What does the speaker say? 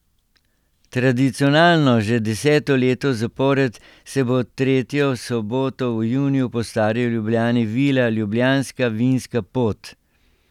Tradicionalno, že deseto leto zapored, se bo tretjo soboto v juniju po stari Ljubljani vila Ljubljanska vinska pot.